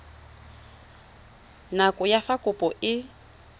nako ya fa kopo e